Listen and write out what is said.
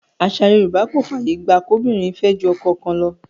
Àṣà Yorùbá kò fàyè gba kóbìnrin fẹ́ ju ọkọ kan lọ.